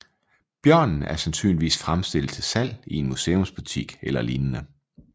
Bjørnen er sandsynligvis fremstillet til salg i en museumsbutik eller lignende